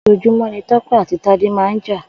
Òjòjúmọ̀ ni Tope àtí Tade mà n jà